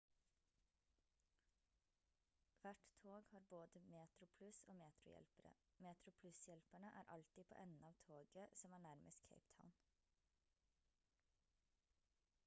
hvert tog har både metroplus- og metro-hjelpere metroplus-hjelperne er alltid på enden av toget som er nærmest cape town